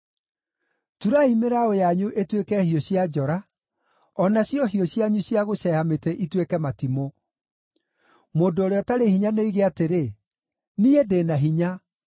Turai mĩraũ yanyu ĩtuĩke hiũ cia njora, o nacio hiũ cianyu cia gũceeha mĩtĩ ituĩke matimũ. Mũndũ ũrĩa ũtarĩ hinya nĩoige atĩrĩ, “Niĩ ndĩ na hinya!”